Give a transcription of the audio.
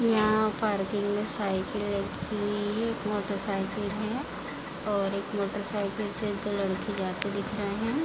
यहाँ पार्किंग में साइकिल रखी हुई है एक मोटरसाइकिल है और एक मोटरसाइकिल से लड़के जाते दिख रहे हैं।